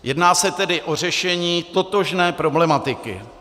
Jedná se tedy o řešení totožné problematiky.